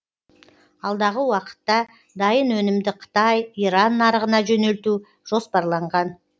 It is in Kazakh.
алдағы уақытта дайын өнімді қытай иран нарығына жөнелту жоспарланған